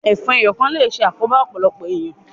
Ẹfọn ẹ́yọ kan le ṣe àkoran ọpọlọpọ éniyàn